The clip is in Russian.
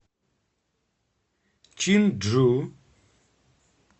чинджу